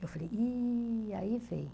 Eu falei, e aí vem.